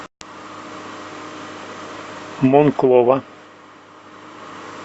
монклова